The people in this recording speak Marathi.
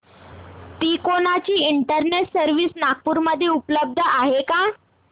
तिकोना ची इंटरनेट सर्व्हिस नागपूर मध्ये उपलब्ध आहे का